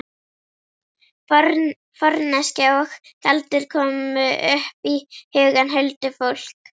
Forneskja og galdur komu upp í hugann. huldufólk.